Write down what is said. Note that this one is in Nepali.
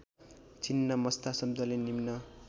छिन्नमस्ता शब्दले निम्न